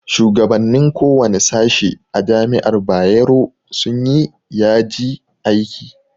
Shugabannin kowane sashe a jami'ar bayero sun yi yaji aiki